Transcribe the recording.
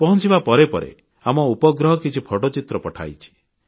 ପହଂଚିବା ପରେ ପରେ ଆମ ଉପଗ୍ରହ କିଛି ଫଟୋଚିତ୍ର ପଠାଇଛି